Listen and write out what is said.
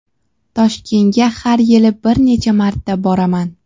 Toshkentga har yili bir necha marta boraman.